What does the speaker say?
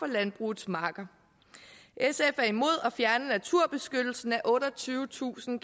landbrugets marker sf er imod at fjerne naturbeskyttelsen af otteogtyvetusind